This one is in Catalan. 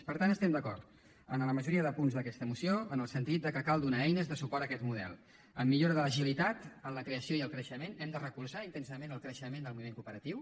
per tant estem d’acord amb la majoria de punts d’aquesta moció en el sentit que cal donar eines de suport a aquest model en millora de l’agilitat en la crea ció i el creixement hem de recolzar intensament el creixement del moviment cooperatiu